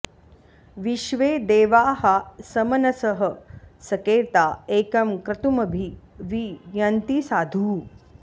विश्वे॑ दे॒वाः सम॑नसः॒ सके॑ता॒ एकं॒ क्रतु॑म॒भि वि य॑न्ति सा॒धु